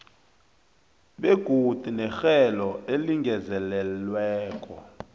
begodu nerhelo elingezelelweko